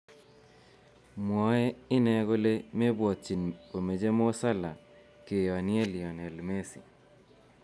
Mwaei ine kole mebwotyin komeche Mo Salah keyonye Lionel Messi